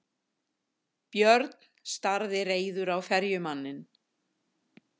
Björn starði reiður á ferjumanninn.